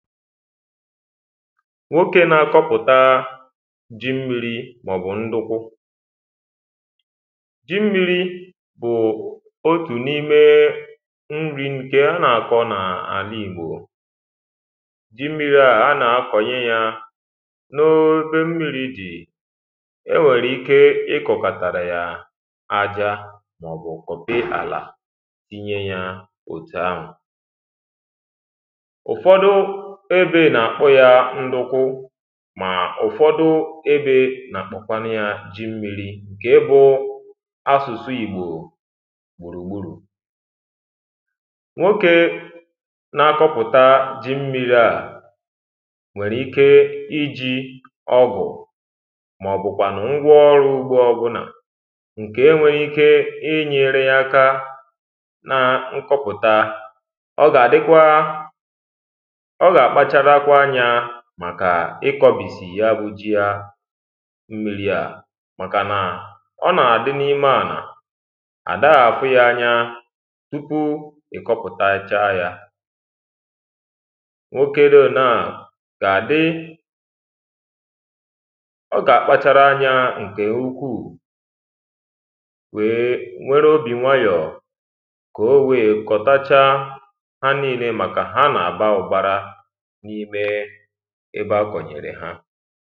nwokė na-akọpụta ji mmiri̇ mà ọ̀ bụ̀ ndukwu ji mmiri̇ bụ̀ otù n’imė nri̇ nke na-akọ̇ n’àla ìgbò ji mmiri̇ a na-akọnyị ya n’o omei mmiri̇ jì e nwèrè ike ịkọ̀kàtàrà yà aja màọ̀bụ̀ kọ̀pị àlà tinye ya òtù ahụ̀ ébè nà-àkpụ ya nduku mà ụ̀fọdụ ébè nà-àkpọkwanụ ya ji mmi̇ri̇ ǹkè ebụ asụ̀sụ ìgbò gbùrùgbùrù nwokė na-akọpụta ji mmi̇ri̇ a nwèrè ike iji̇ ọgụ̀ màọ̀bụ̀kwànụ̀ ngwa ọrụ ugbo ọbụnà ǹkè e nwèrè ike inyėrė ya aka na nkọpụta ọ gà àdịkwa màkà ịkọ̀bìsì ya bujì ya mmiri ya màkà nà ọ nàà dị n’ime ànà àdághà àfụ ya anya tupu ị̀ kọpụ̀tacha ya nwokė rȧ naa gà àdị ọ gà àkpachara anya ǹkè ukwuù wèe nwere obì nwayọ̀ kò oweė kọ̀tacha ha niile màkà ha nà àba ụ́kparȧ n’ime ebe agụnyere ha